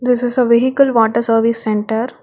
this is a vehicle water service centre.